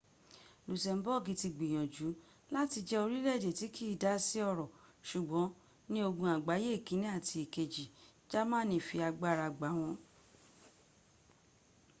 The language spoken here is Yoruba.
lusemboogi ti gbiyanju lati je orileede ti kii da si oro sugbon ni ogun agbaye ikini ati ikeji jamani fi agbara gba won